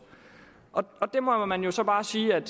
man må så bare sige at